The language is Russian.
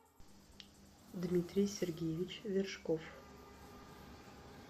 дмитрий сергеевич вершков